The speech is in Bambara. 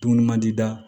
Dumuni mandi da